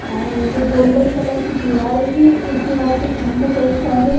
और ये golden colour की दिवार है एक दिवार पे सामने कई सारे--